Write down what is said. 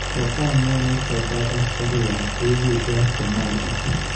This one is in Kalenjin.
Kofamian Al-Shabab askarik ab AU eng Somalia